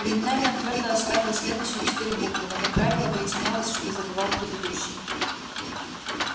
временами он твёрдо осваивал следующие четыре буквы но как правило выяснялось что забывал предыдущие